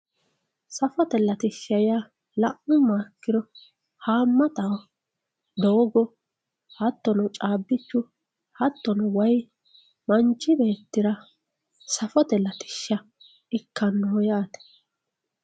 safote latishsha yaa la'nummoha ikkiro haammataho doogo hattono caabbichu hattono wayii manchi beettira safote latishsha ikkannoho yaate